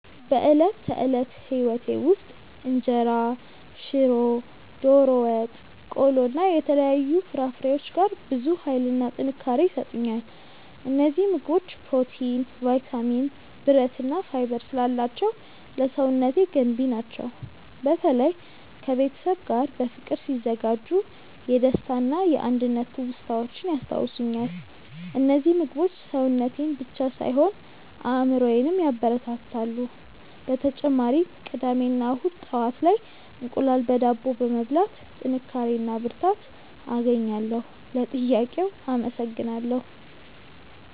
በዕለት ተዕለት ሕይወቴ ውስጥ እንጀራ፣ ሽሮ፣ ዶሮ ወጥ፣ ቆሎ እና የተለያዩ ፍራፍሬዎች ጋር ብዙ ኃይልና ጥንካሬ ይሰጡኛል። እነዚህ ምግቦች ፕሮቲን፣ ቫይታሚን፣ ብረት እና ፋይበር ስላላቸው ለሰውነቴ ገንቢ ናቸው። በተለይ ከቤተሰብ ጋር በፍቅር ሲዘጋጁ የደስታና የአንድነት ትውስታዎችን ያስታውሱኛል። እነዚህ ምግቦች ሰውነቴን ብቻ ሳይሆን አእምሮዬንም ያበረታታሉ። በተጨማሪም ቅዳሜ እና እሁድ ጠዋት ላይ እንቁላል በዳቦ በመብላት ጥንካሬ እና ብርታት አገኛለሁ። ለጥያቄው አመሰግናለሁ።